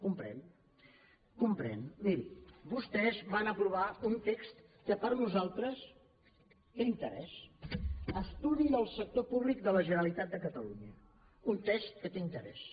comprèn comprèn miri vostès van aprovar un text que per nosaltres té interès estudi del sector públic de la generalitat de catalunya un text que té interès